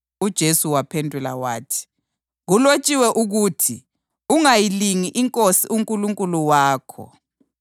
UJesu wamphendula wathi, “Kulotshiwe ukuthi, ‘Ungayilingi iNkosi uNkulunkulu wakho.’ + 4.7 UDutheronomi 6.16 ”